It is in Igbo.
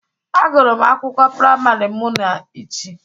Agụrụm akwụkwọ priamari mụ na Ichi.